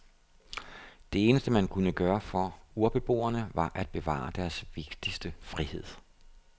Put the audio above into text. Det eneste man kunne gøre for urbeboerne var at bevare deres vigtigste frihed.